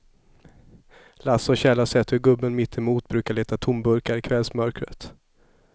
Lasse och Kjell har sett hur gubben mittemot brukar leta tomburkar i kvällsmörkret.